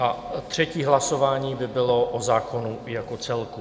A třetí hlasování by bylo o zákonu jako celku.